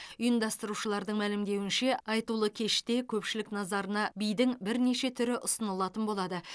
ұйымдастырушылардың мәлімдеуінше айтулы кеште көпшілік назарына бидің бірнеше түрі ұсынылатын болады